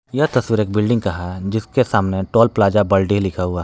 यह तस्वीर एक बिल्डिंग का है जिसके सामने टोल प्लाजा बाल्डे लिखा हुआ है।